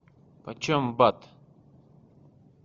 почем бат